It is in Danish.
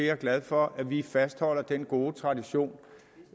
er glad for at vi fastholder den gode tradition